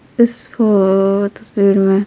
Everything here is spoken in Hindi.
इस फोर्थ में--